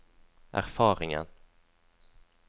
erfaringen